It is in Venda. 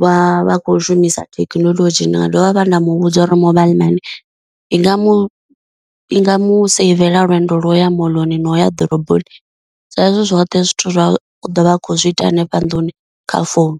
vha vha khou shumisa thekinoḽodzhi, ndi nga dovha vha nda muvhudza uri mobile money i nga mu i nga mu saivela lwendo lwo ya moḽoni noya ḓoroboni, sa izwi zwoṱhe zwithu zwa ḓo vha a khou zwi ita hanefha nnḓuni kha founu.